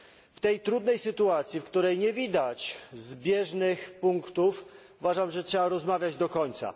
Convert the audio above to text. W tej trudnej sytuacji, w której nie widać zbieżnych punktów, uważam, że trzeba rozmawiać do końca.